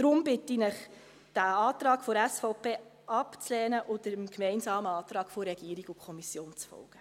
Deshalb bitte ich Sie, den Antrag der SVP abzulehnen und dem gemeinsamen Antrag von Regierung und Kommission zu folgen.